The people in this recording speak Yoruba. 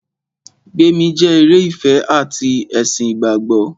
Gbémi jẹ́ eré ìfẹ ati ti ẹ̀sìn ìgbàgbọ́.